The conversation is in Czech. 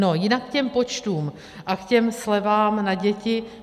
No jinak k těm počtům a k těm slevám na děti.